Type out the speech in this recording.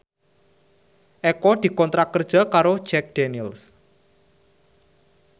Eko dikontrak kerja karo Jack Daniels